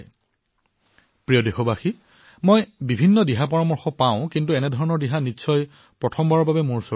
মোৰ মৰমৰ দেশবাসীসকল মই বহু পৰামৰ্শ লাভ কৰো কিন্তু মই কব পাৰো যে এনে ধৰণৰ পৰামৰ্শ বোধহয় প্ৰথমবাৰলৈ লাভ কৰিছো